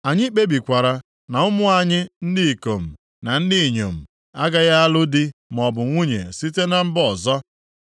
“Anyị kpebikwara na ụmụ anyị ndị ikom na ndị inyom agaghị alụ di maọbụ nwunye site na mba ọzọ.